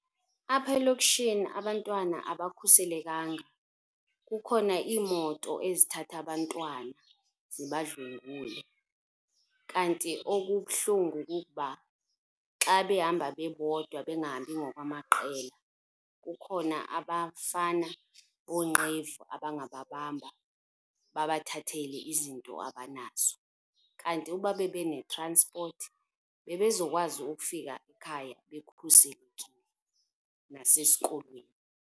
Apha elokishini abantwana abakhuselekanga. Kukhona iimoto ezithatha abantwana zibadlwengule. Kanti okubuhlungu kukuba xa behamba bebodwa bengahambi ngokwamaqela, kukhona abafana bonqevu abangababamba babathathele izinto abanazo. Kanti ukuba bebe ne-transport bebezokwazi ukufika ekhaya bekhuselekile, nasesikolweni.